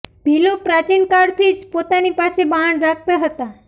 ભીલો પ્રાચીનકાળ થી જ પોતાની પાસે બાણ રાખતા હતા